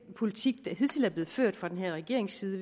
politik der hidtil er blevet ført fra den her regerings side